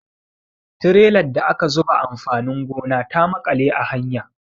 Trelar da aka zuba amfanin gona ta maƙale a hanya.